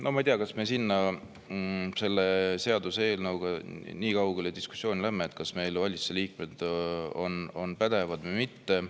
No ma ei tea, kas me selle seaduseelnõu diskussiooniga nii kaugele läheme,, kas meil valitsuse liikmed on pädevad või mitte.